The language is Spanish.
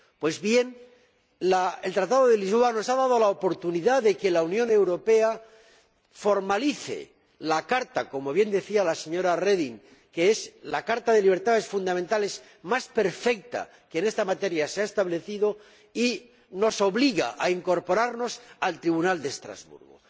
Pues bien, el Tratado de Lisboa nos ha dado la oportunidad de que la Unión Europea formalice la carta que, como bien decía la señora Reding, es la carta de libertades fundamentales más perfecta que se ha establecido en esta materia y nos obliga a incorporarnos al Tribunal de Estrasburgo.